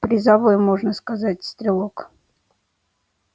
призовой можно сказать стрелок